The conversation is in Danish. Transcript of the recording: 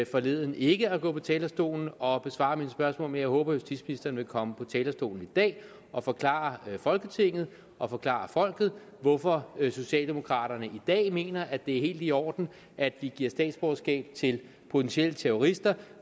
forleden ikke at gå på talerstolen og besvare mine spørgsmål men jeg håber at justitsministeren vil komme på talerstolen i dag og forklare folketinget og forklare folket hvorfor socialdemokraterne i dag mener at det er helt i orden at vi giver statsborgerskab til potentielle terrorister